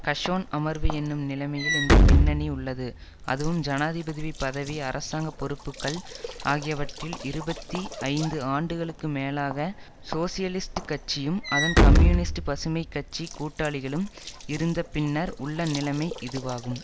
கஷோன் அமர்வு என்னும் நிலமையில் இந்த பின்னணி உள்ளது அதுவும் ஜனாதிபதிவி பதவி அரசாங்க பொறுப்புக்கள் ஆகியவற்றில் இருபத்தி ஐந்து ஆண்டுகளுக்கு மேலாக சோசியலிஸ்ட் கட்சியும் அதன் கம்யூனிஸ்ட் பசுமை கட்சி கூட்டாளிகளும் இருந்த பின்னர் உள்ள நிலமை இதுவாகும்